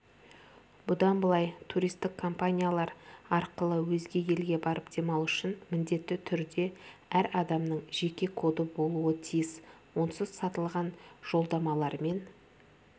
бұдан былай туристік компаниялар арқылы өзге елге барып демалу үшін міндетті түрде әр адамның жеке коды болуы тиіс онсыз сатылған жолдамалармен